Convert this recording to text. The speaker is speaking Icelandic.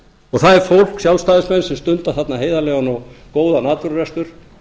og það er fólk sjálfstæðismenn sem stunda þarna heiðarlegan og góðan atvinnurekstur